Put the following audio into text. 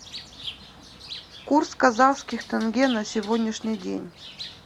курс казахских тенге на сегодняшний день